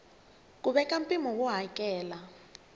ku veka mpimo wo hakela